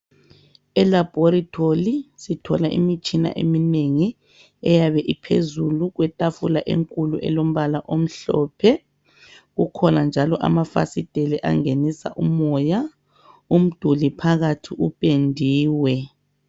Elaboratory sithola imitshina eminengi eyabe iphezulu kwetafula enkulu elombala omhlophe kukhona njalo amafasiteli angenisa umoya, umduli phakathi upendiwe.